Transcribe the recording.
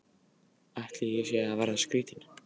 Ætli ég sé að verða skrýtin.